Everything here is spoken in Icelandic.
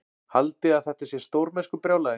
Haldiði að þetta sé stórmennskubrjálæði?